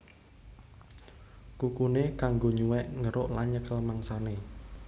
Kukuné kanggo nyuwèk ngeruk lan nyekel mangsané